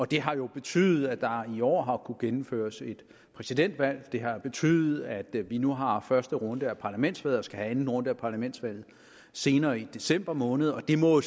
det har betydet at der jo har kunnet gennemføres et præsidentvalg det har betydet at vi nu har første runde af parlamentsvalget og skal have anden runde af parlamentsvalget senere i december måned og det må